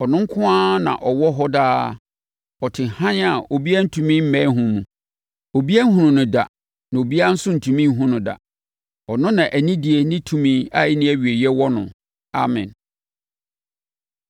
Ɔno nko na ɔwɔ hɔ daa, ɔte hann a obi ntumi mmɛn ho mu. Obiara nhunuu no da na obiara nso rentumi nhunu no da. Ɔno na anidie ne tumi a ɛnni awieeɛ wɔ no. Amen.